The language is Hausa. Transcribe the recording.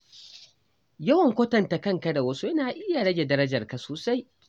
Yawan kwatanta kanka da wasu yana iya rage darajarka sosai.